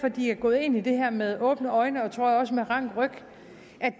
at de er gået ind i det her med åbne øjne og tror jeg også med rank ryg